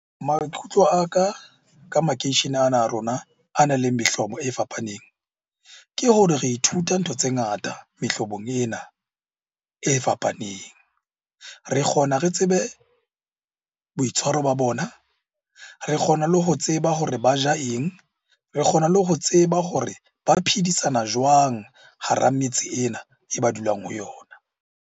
Maikutlo a ka ka makeishene ana a rona a nang le mehlobo e fapaneng, ke hore re ithuta ntho tse ngata mehlobong ena e fapaneng. Re kgona re tsebe boitshwaro ba bona, re kgona le ho tseba hore ba ja eng? Re kgona le ho tseba hore ba phedisana jwang hara metse ena e ba dulang ho yona?